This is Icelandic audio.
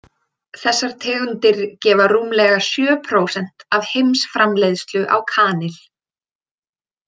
Þessar tegundir gefa rúmlega sjö prósent af heimsframleiðslu á kanil.